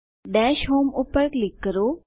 દશ હોમ પર ક્લિક કરો